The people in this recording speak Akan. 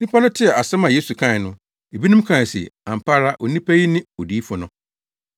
Nnipa no tee asɛm a Yesu kae no, ebinom kae se, “Ampa ara onipa yi ne odiyifo no!”